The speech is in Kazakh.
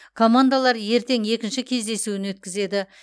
командалар ертең екінші кездесуін өткізеді